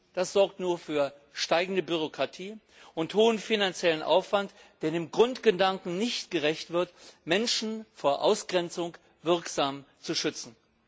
Das sorgt nur für steigende Bürokratie und hohen finanziellen Aufwand, der dem Grundgedanken nicht gerecht wird, Menschen wirksam vor Ausgrenzung zu schützen.